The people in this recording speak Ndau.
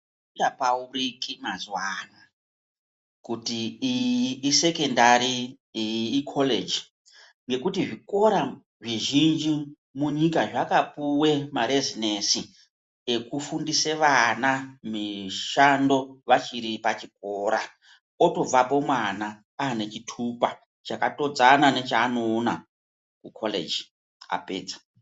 Azvichapauriki mazuwa ano kuti iyi isekondari iyi iKoreji ngekuti zvikora zvizhinji munyika zvakapiwe marezinesi ekufundise vana mishando vachiri pachikora otobvapo mwana anechitupa chakatodzana nechaanoona kuKholeji apedza.